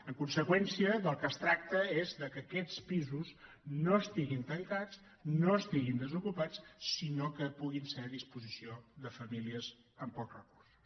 en conseqüència del que es tracta és que aquests pisos no estiguin tancats no estiguin desocupats sinó que puguin estar a disposició de famílies amb pocs recursos